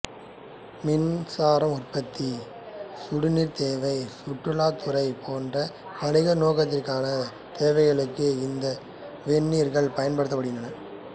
மின்சார உற்பத்தி சுடுநீர்த் தேவை சுற்றுலாத்துறை போன்ற வணிகநோக்கிலான தேவைகளுக்கு இந்த வெந்நீரூற்றுக்கள் பயன்படுகின்றன